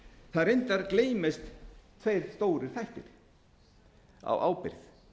það reyndar gleymast tveir stórir þættir á ábyrgð